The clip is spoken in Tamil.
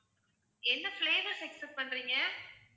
என்ன flavour expect பண்றீங்க?